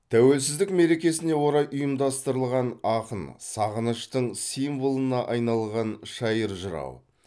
тәуелсіздік мерекесіне орай ұйымдастырылған ақын сағыныштың символына айналған шайыр жырау